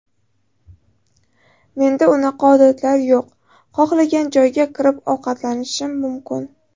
Menda unaqa odatlar yo‘q, xohlagan joyga kirib ovqatlanishim mumkin.